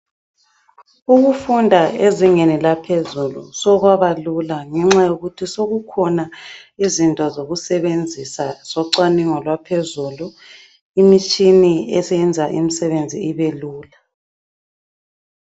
Ukufunda ezingeni laphezulu sokwabalula ngenxa yokuthi sokukhona izinto zokusebenzisa zocwaningo lwaphezulu, imitshini esiyenza imisebenzi ibelula.